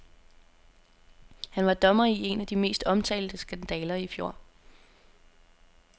Han var dommer i en af de mest omtalte skandaler i fjor.